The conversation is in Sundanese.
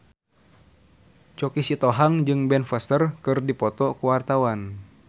Choky Sitohang jeung Ben Foster keur dipoto ku wartawan